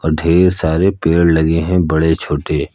ढेर सारे पेड़ लगे हैं बड़े छोटे।